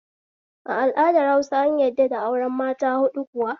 A al'adar Hausa an yadda da auren mata huɗu kuwa?